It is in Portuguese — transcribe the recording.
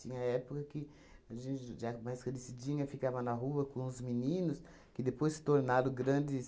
Tinha época que a gente já mais crescidinha, ficava na rua com os meninos, que depois se tornaram grandes...